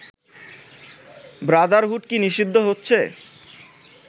Brotherhood কি নিষিদ্ধ হচ্ছে